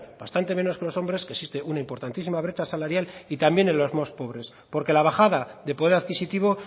bastante menos que los hombres que existe un importantísima brecha salarial y también en los más pobres porque la bajada de poder adquisitivo